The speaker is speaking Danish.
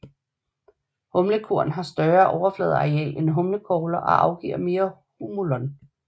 Humlekorn har større overfladeareal end humlekogler og afgiver mere humulon